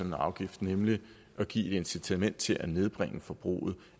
en afgift nemlig at give et incitament til at nedbringe forbruget